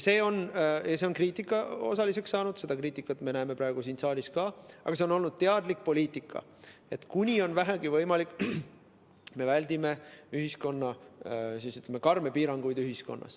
See on kriitika osaliseks saanud, seda kriitikat me näeme praegu siin saalis ka, aga see on olnud teadlik poliitika, et kuni on vähegi võimalik, me väldime ühiskonnas karme piiranguid.